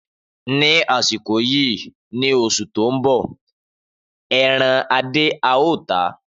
Ni asiko yii ni osu to n bo eran Ade ao ta.